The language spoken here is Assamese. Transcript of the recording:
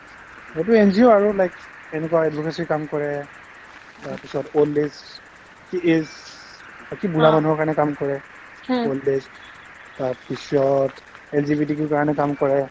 সেইটো NGO আৰু like এনেকুৱা advocacy ৰ কাম কৰে তাৰপিছত old age , age বাকি বুঢ়া মানুহৰ কাৰণে কাম কৰে old age তাৰপিছত LGBTQ ৰ কাৰণে কাম কৰে